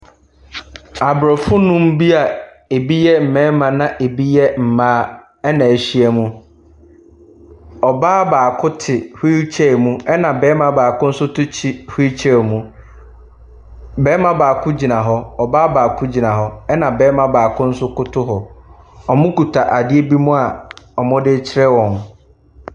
Abrɔfo nnum bia ebi yɛ mmarima na ebi yɛ mmaa na ɛhyia mu. Ɔbaa baako te wheel chair mu ɛna barima baako nso te wheel chair mu. Barima baako gyina hɔ, ɔbaa baako gyina hɔ ɛna barima baako nso koto hɔ. Ɔkuta adeɛ bi mu a wɔdekyerɛ wɔn.